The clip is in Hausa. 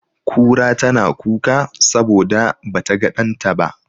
Kura tana kuka saboda ba ta ga ɗanta ba.